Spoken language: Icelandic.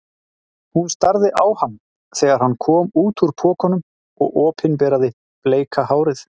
Hún starði á hann þegar hann kom út úr pokanum og opinberaði bleika hárið.